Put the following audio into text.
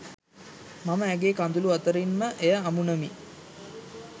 මම ඇගේ කඳුළු අතරින් ම එය අමුණමි